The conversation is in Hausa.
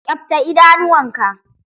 Ƙyabta idanuwa ka!